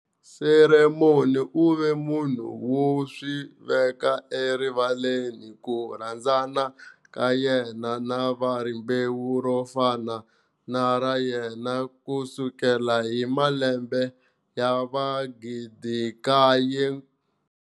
Cameron u ve munhu wo swi veka erivaleni ku rhandzana ka yena na va rimbewu ro fana na ra yena ku sukela hi malembe ya va 9000.